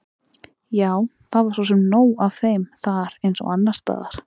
Jú, það var svo sem nóg af þeim þar eins og annars staðar.